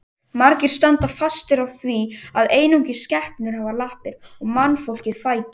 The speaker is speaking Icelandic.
Margir standa fastir á því að einungis skepnur hafi lappir og mannfólkið fætur.